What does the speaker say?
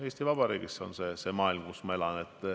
Eesti Vabariik on see maailm, kus ma elan.